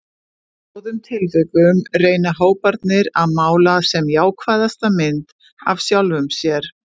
Í báðum tilvikum reyna hóparnir að mála sem jákvæðasta mynd af sjálfum sér.